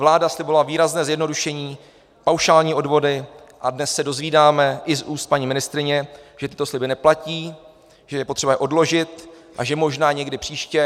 Vláda slibovala výrazné zjednodušení, paušální odvody, a dnes se dozvídáme i z úst paní ministryně, že tyto sliby neplatí, že je potřeba je odložit a že možná někdy příště.